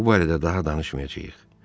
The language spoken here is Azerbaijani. Bu barədə daha danışmayacağıq.